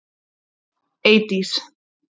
Eydís